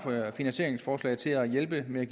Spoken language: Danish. finansieringsforslag til at hjælpe med at